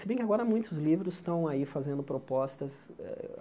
Se bem que agora muitos livros estão aí fazendo propostas. Eh